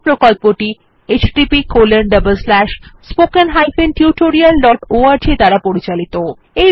এই প্রকল্পটি httpspoken tutorialorg দ্বারা পরিচালিত